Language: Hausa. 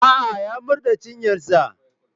A'a, ya murɗe cinyarsa.